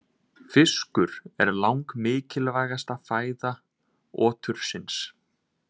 Fiskur er langmikilvægasta fæða otursins.